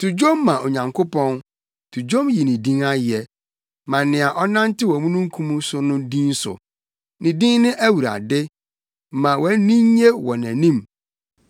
To dwom ma Onyankopɔn, to dwom yi ne din ayɛ. Ma nea ɔnantew omununkum so no din so. Ne din ne Awurade; ma wʼani nnye wɔ nʼanim.